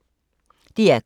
DR K